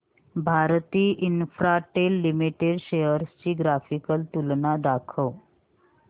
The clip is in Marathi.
भारती इन्फ्राटेल लिमिटेड शेअर्स ची ग्राफिकल तुलना दाखव